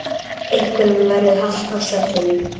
Einhverjum verður halt á svellinu